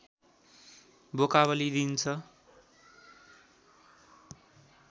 बोका बलि दिइन्छ